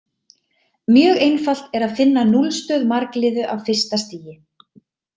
Mjög einfalt er að finna núllstöð margliðu af fyrsta stigi.